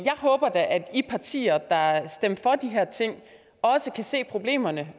håber da at de partier der stemte for de her ting også kan se problemerne